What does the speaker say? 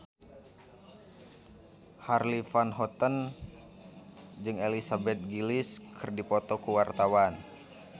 Charly Van Houten jeung Elizabeth Gillies keur dipoto ku wartawan